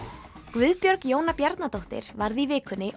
Guðbjörg Jóna Bjarnadóttir varð í vikunni